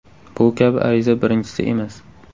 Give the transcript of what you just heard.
Bu kabi ariza birinchisi emas.